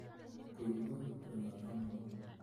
Kũigua kũnyoota mũno